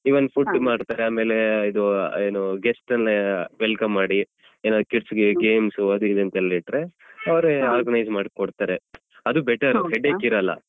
Even food ಮಾಡ್ತಾರೆ ಆಮೇಲೆ ಇದು ಏನು guest ಎಲ್ಲ welcome ಮಾಡಿ ಏನಾದ್ರೂ kids ಗೆ games ಅದು ಇದು ಅಂತೆಲ್ಲ ಇಟ್ರೆ ಅವ್ರೆ organize ಮಾಡಿ ಕೊಡ್ತಾರೆ ಅದು. better headache ಇರಲ್ಲ.